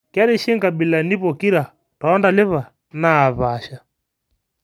kerishi nkabilani pokira to ntalipa naapasha